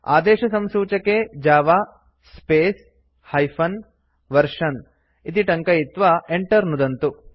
आदेशसंसूचके जव space hyphen version इति टङ्कयित्वा Enter नुदन्तु